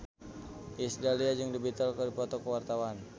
Iis Dahlia jeung The Beatles keur dipoto ku wartawan